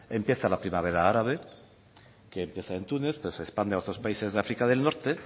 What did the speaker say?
empieza la primavera árabe que empieza en túnez pero se expande a otros países de áfrica del norte